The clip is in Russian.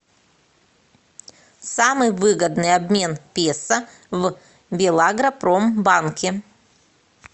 самый выгодный обмен песо в белагропромбанке